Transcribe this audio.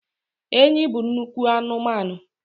Enyi bụ nnukwu anụmanụ